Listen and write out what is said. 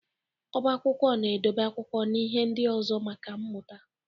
Oba akwụkwọ na edobe akwụkwọ na ihe ndị ọzọ maka mmụta.